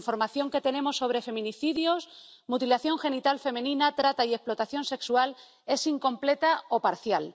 La información que tenemos sobre feminicidios, mutilación genital femenina, trata y explotación sexual es incompleta o parcial.